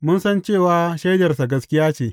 Mun san cewa shaidarsa gaskiya ce.